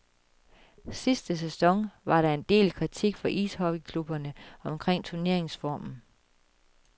Sidste sæson var der en del kritik fra ishockeyklubberne omkring turneringsformen.